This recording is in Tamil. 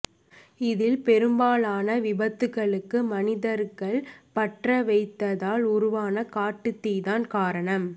இதில் பெரும்பாலான விபத்துகளுக்கு மனிதர்கள் பற்ற வைத்ததால் உருவான காட்டுத்தீதான் காரணம்